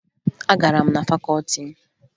Agara m na fakọọti m